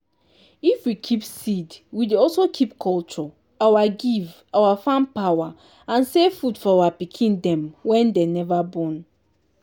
if we keep seed we dey also keep culture our give our farm power and save food for our pikin dem wen dey neva born.